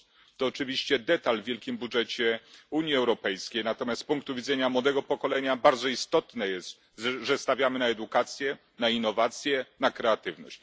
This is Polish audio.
To oczywiście szczegół w wielkim budżecie Unii Europejskiej, natomiast z punktu widzenia młodego pokolenia bardzo istotne jest, że stawiamy na edukację, na innowacje, na kreatywność.